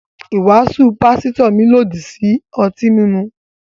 Ìwàásù pásítò mi lọ dí ọ̀tí mímú